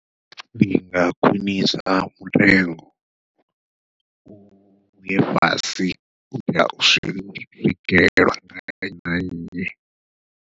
Ndi nga khwiṋisa mutengo, uye fhasi u itela u swikelwa nga nnyi na nnyi.